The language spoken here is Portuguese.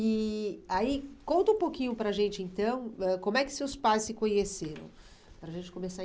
E aí, conta um pouquinho para a gente, então, ãh como é que seus pais se conheceram? Para a gente começar